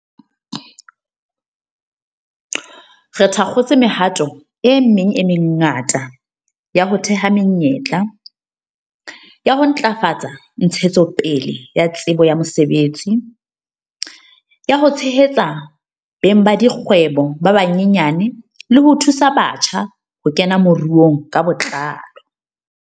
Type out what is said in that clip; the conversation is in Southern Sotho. Re thakgotse mehato e meng e mengata ya ho theha menyetla, ya ho ntlafatsa ntshetsopele ya tsebo ya mosebetsi, ya ho tshehetsa beng ba dikgwebo ba banyenyane le ho thusa batjha ho kena moruong ka botlalo.